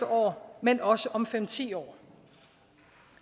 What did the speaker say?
år men også om fem ti år